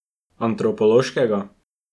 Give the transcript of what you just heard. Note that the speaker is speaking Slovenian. Antropološkega?